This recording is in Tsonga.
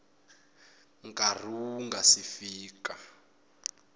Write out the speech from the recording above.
nkarhi wu nga si fika